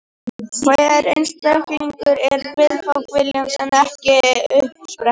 Hver einstaklingur er viðfang viljans en ekki uppspretta hans.